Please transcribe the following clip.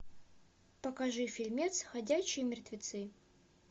покажи фильмец ходячие мертвецы